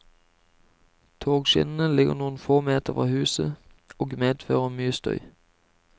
Togskinnene ligger noen få meter fra huset, og medfører mye støy.